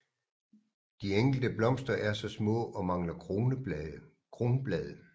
De enkelte blomster er små og mangler kronblade